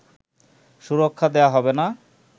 সুরক্ষা দেয়া হবে না